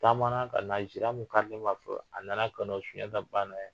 Taama na ka na zira min kari a nana ka na